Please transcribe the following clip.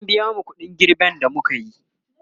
an biya mu ƙuɗin girben da mukayi